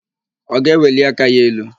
Ọ ga-eweli aka ya elu?